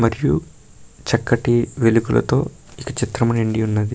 మరియు చక్కటి వెలుగులతో ఒక చిత్రము నిండి ఉన్నది.